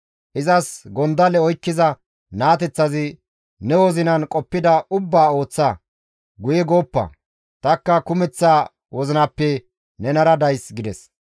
Izas gondalle oykkiza naateththazi, «Ne wozinan qoppida ubbaa ooththa; guye gooppa; tanikka kumeththa wozinappe nenara days» gides.